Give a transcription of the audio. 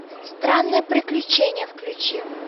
странные приключения включи